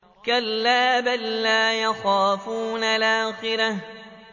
كَلَّا ۖ بَل لَّا يَخَافُونَ الْآخِرَةَ